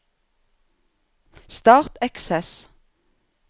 Start Access